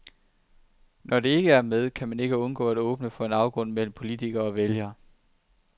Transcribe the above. Når det ikke er med, kan man ikke undgå at åbne for en afgrund mellem politikere og vælgere.